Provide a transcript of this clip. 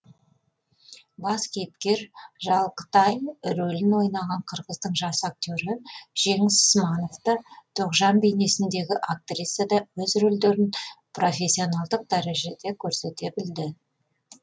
бас кейіпкер жалқытай рөлін ойнаған қырғыздың жас актері жеңіс сманов та тоғжан бейнесіндегі актриса да өз рөлдерін профессионалдық дәрежеде көрсете білді